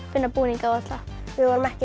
finna búninga á alla við vorum ekki að